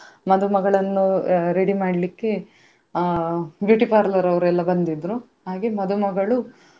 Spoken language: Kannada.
ಮದುಮಗಳನ್ನು ಅಹ್ ready ಮಾಡ್ಲಿಕ್ಕೆ ಅಹ್ beauty parlour ಅವರೆಲ್ಲ ಬಂದಿದ್ರು ಹಾಗೆ ಮದುಮಗಳು.